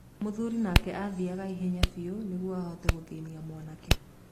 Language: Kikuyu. Mũthuri nake athiaga ihenya biũ nĩguo ahote gũthĩnia mwanake.